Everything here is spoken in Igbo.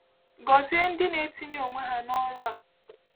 Gọzie ndị na-etinye onwe ha n’ọrụ a.